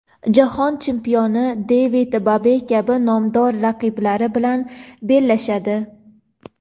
jahon chempioni David Bayev kabi nomdor raqiblari bilan bellashadi.